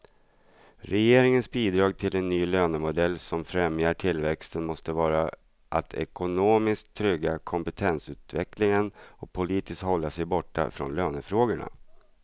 Regeringens bidrag till en ny lönemodell som främjar tillväxten måste vara att ekonomiskt trygga kompetensutvecklingen och politiskt hålla sig borta från lönefrågorna.